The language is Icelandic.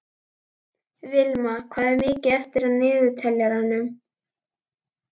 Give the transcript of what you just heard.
Vilma, hvað er mikið eftir af niðurteljaranum?